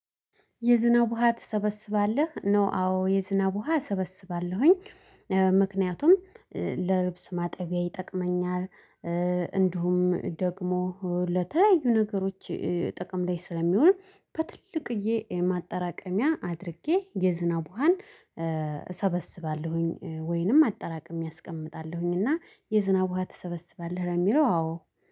የዝናብ ውሃ ትሰበስባለህ? ነው አዎ የዝናብ ውሃ እሰበስባለሁኝ እ ምክንያቱም እ ለልብስ ማጠቢያ ይጠቅመኛል እ እንዲሁም ደግሞ ለተለያዩ ነገሮች እ ጥቅም ላይ ስለሚውል በትልቅዬ እ ማጠራቀሚያ አድርጌ የዝናብ ውሃን እ እሰበስባለሁኝ ወይንም አጠራቅሜ አስቀምጣለሁኝ እና የዝናብ ውሃ ትሰበስባለህ ለሚለው አዎ